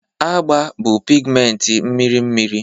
Agba bụ pigmenti mmiri mmiri.